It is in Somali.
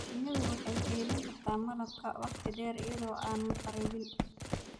Shinnidu waxay kaydin kartaa malab wakhti dheer iyada oo aan kharribin.